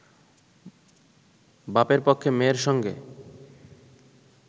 বাপের পক্ষে মেয়ের সঙ্গে